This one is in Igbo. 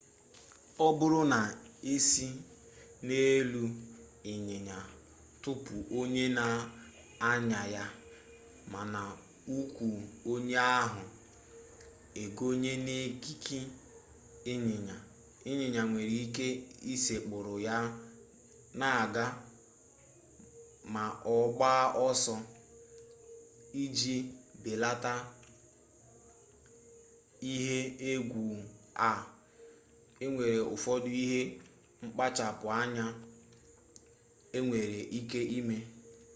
ọ bụrụ na esị n'elu ịnyịnya tụpụ onye na-anya ya mana ụkwụ onye ahụ ekonye n'ekike ịnyịnya ịnyịnya nwere ike ịsekpụrụ ya na-aga ma ọ gbaa ọsọ iji belata ihe egwu a enwere ụfọdụ ihe mkpachapụ anya enwere ike ime